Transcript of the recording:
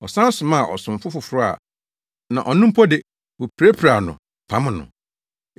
Ɔsan somaa ɔsomfo foforo na ɔno mpo de, wopirapiraa no pam no.